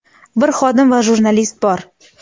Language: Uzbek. bir xodim va jurnalist bor.